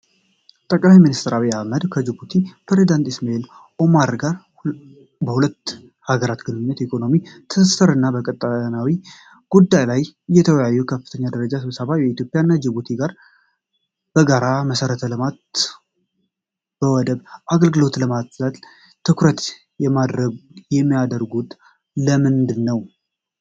ጠቅላይ ሚኒስትር አብይ አህመድ ከጅቡቲው ፕሬዚዳንት ኢስማኤል ኦማር ጉሌህ ጋር በሁለቱ ሀገራት ግንኙነት፣ በኢኮኖሚ ትስስር እና በቀጠናዊ ጉዳዮች ላይ የተወያዩበት ከፍተኛ ደረጃ ስብሰባ። ኢትዮጵያ እና ጅቡቲ በጋራ መሠረተ ልማት እና በወደብ አገልግሎት ልማትላይ ትኩረት የሚያደርጉት ለምንድን ነው?